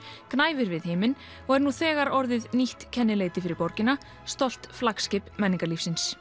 gnæfir við himinn og er nú þegar orðið nýtt kennileiti fyrir borgina stolt flaggskip menningarlífsins